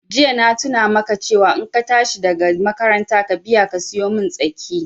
Jiya na tuna maka cewa in ka tashi daga makaranta ka biya ka siyomin tsaki